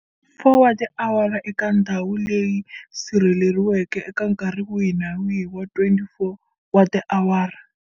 4 wa tiawara eka ndhawu leyi sirheleriweke eka nkarhi wihi na wihi wa 24 wa tiawara.